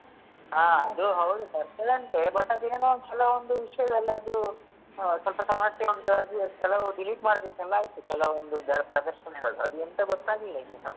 ಹಾ ಅದು ಹೌದು ಬರ್ತದಂತೆ but ಅದು ಏನೋ ಒಂದ್ಸಲ ಒಂದು ವಿಷಯದಲ್ಲಿ ಅದು ಅಹ್ ಸ್ವಲ್ಪ ಸಮಸ್ಯೆ ಉಂಟು ಅದು ಕೆಲವು delete ಮಾಡ್ಬೇಕೆಲ್ಲ ಆಯ್ತು ಕೆಲವೊಂದು ಪ್ರದರ್ಶನಗಳು ಅದು ಎಂತ ಗೊತ್ತಾಗ್ಲಿಲ್ಲಾ ಇನ್ನುಸ.